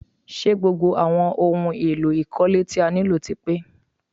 Ṣé gbogbo àwọn ohun èlò ìkọ́lé tí a nílò ti pe?